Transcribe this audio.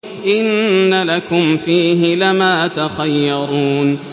إِنَّ لَكُمْ فِيهِ لَمَا تَخَيَّرُونَ